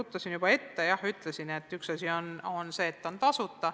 Ruttasin juba ette ja ütlesin, et üks asi on see, et kõik on tasuta.